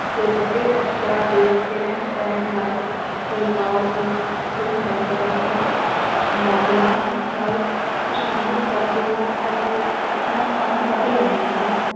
ਤੇ ਵੱਡੇ ਅਫ਼ਸਰਾਂ ਦੇ ਕਹਿਣ ਸਹਿਣ ਨਾਲ ਪਰਿਵਾਰ ਦੇ ਦੋ ਮੈਂਬਰਾਂ ਦੀ ਸੰਵਾਦਨਾ ਨਾਲ ਖ਼ੁਸ਼ਾਮਦ ਕਰਦੇ ਹਨ ਅਤੇ ਆਪਣਾ ਕੰਮ ਕੱਢ ਲੈਂਦੇ ਹਨ,